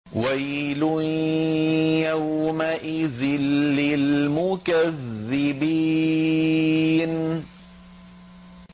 وَيْلٌ يَوْمَئِذٍ لِّلْمُكَذِّبِينَ